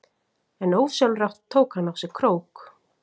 En ósjálfrátt tók hann á sig krók.